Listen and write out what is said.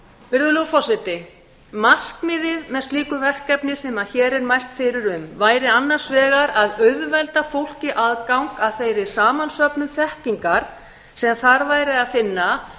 virðulegur forseti markmiðið með slíku verkefni sem hér er mælt fyrir um væri annars vegar að auðvelda fólki aðgang að þeirri samansöfnun þekkingar sem þar væri að finna